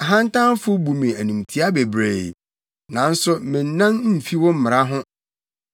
Ahantanfo bu me animtiaa bebree, nanso mennan mfi wo mmara ho.